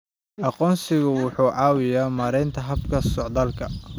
Aqoonsigu wuxuu caawiyaa maaraynta habka socdaalka.